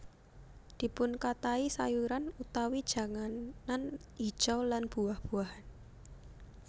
Dipunkathahi sayuran utawi janganan hijau lan buah buahan